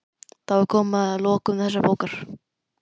Þá er komið að lokum þessarar bókar.